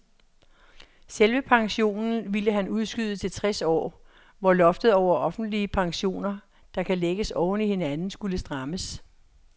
Selve pensionen ville han udskyde til tres år, hvor loftet over offentlige pensioner, der kan lægges oven i hinanden, skulle strammes.